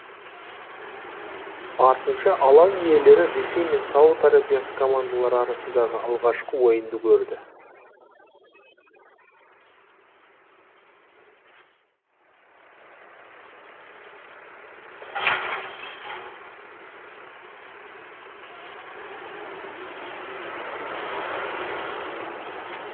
артынша алаң иелері ресей мен сауд арабиясы командалары арасындағы алғашқы ойынды көрді